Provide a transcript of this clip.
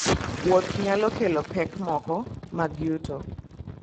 Wuoth nyalo keloni pek moko mag yuto.